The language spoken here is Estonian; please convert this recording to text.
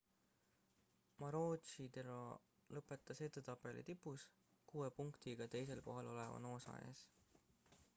maroochydore lõpetas edetabeli tipus kuue punktiga teisel kohal oleva noosa ees